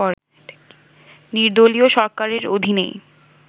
নির্দলীয় সরকারের অধীনেই